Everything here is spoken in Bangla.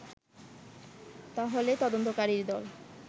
তাহলে তদন্তকারী দল